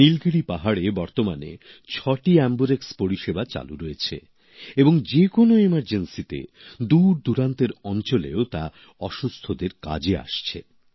নীলগিরি পাহাড়ে বর্তমানে ছটি এম্বুরেক্স পরিষেবা চালু রয়েছে এবং যে কোন জরুরী পরিস্থিতিতে দূরদূরান্তের অঞ্চলেও তা অসুস্থদের কাজে আসছে